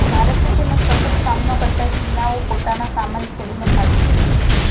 ભારતે તેનો સખત સામનો કરતા ચીનાઓ પોતાનો સામાન છોડીને ભાગી ગયા